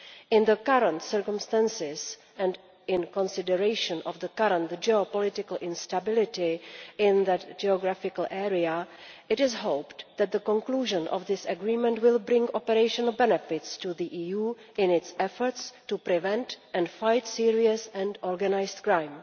In the current circumstances, and in consideration of the current geopolitical instability in that geographical area, it is hoped that the conclusion of this agreement will bring operational benefits to the EU in its efforts to prevent and fight serious and organised crime.